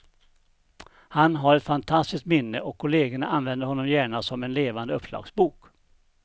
Han har ett fantastiskt minne och kollegerna använder honom gärna som en levande uppslagsbok.